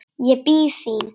Ég bíð þín.